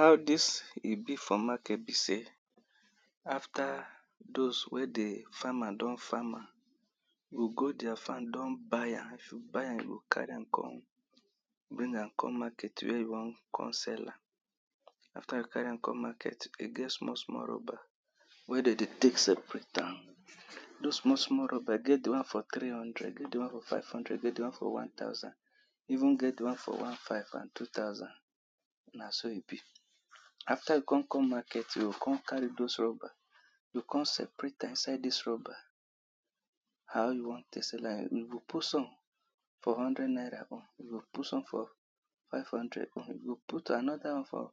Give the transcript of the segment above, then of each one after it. How dis e be for market be sey, after dose wey di farmer don farm am, yoh go deir farm don buy am, if you buy am you go carry am come, bring am, come market wey you wan con sell am. After you carry am come market, de get small small rubber wey de dey tek separate am, dose small small rubber, e get di one for three hundreed, e get di one for five hundred e get di one for one thousand, even get di one for one five and two thousand na so e be. After you con come market, yoh con carry dose rubber, yoh con separate am inside dis rubber How you wan tek sell am, you go put some for hundred naira own, you go put some for five hundred own, you go put another one for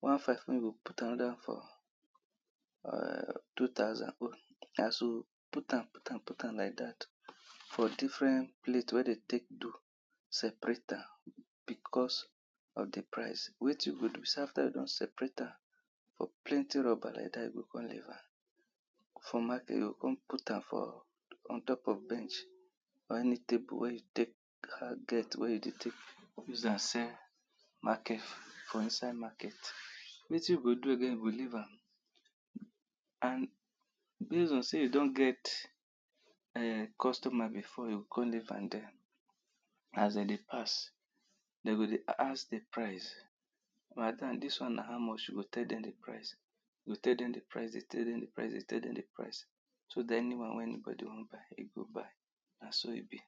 one five own, you go put another one for um two thousand own, as you put am, put am, put am like dat for different plate wey de tek do, separate am because of di price. Wetin you go do be sey after you don separate am for plenty rubber like dat, yoh con leave am for market, yoh con put am for ontop of bench or any table wey you tek get, wey you dey tek use am sell market for inside market. Wetin you go do again, you go leave am and base on sey e don get, um customer before, yoh con leave am dere. As de dey pass, de go dey ask di price, madam dis one na how much, you go tell dem di price, yoh tell dem di Price, tell dem di prices, dey tell dem di price, dey tell dem di price, show dem anyone wey anybody wan buy, e go buy, na so e be.